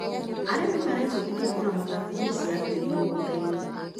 Arĩmi marebundithia kũramata pH ya tĩri mĩgũndainĩ.